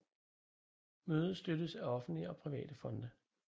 Mødet støttes af offentlige og private fonde